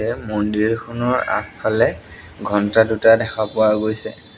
এ মন্দিৰখনৰ আগফালে ঘণ্টা দুটা দেখা পোৱা গৈছে।